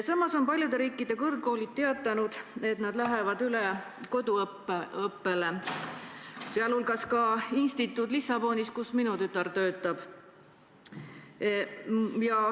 Samas on paljude riikide kõrgkoolid teatanud, et nad lähevad üle koduõppele, sh instituut Lissabonis, kus minu tütar töötab.